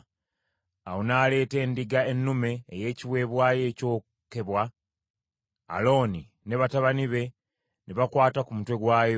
Awo n’aleeta endiga ennume ey’ekiweebwayo ekyokebwa; Alooni ne batabani be ne bakwata ku mutwe gwayo.